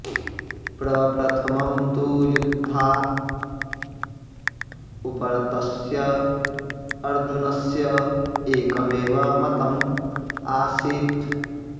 प्रप्रथमं तु युद्धात् उपरतस्य अर्जुनस्य एकमेव मतम् आसीत्